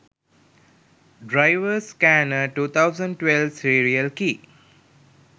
driver scanner 2012 serial key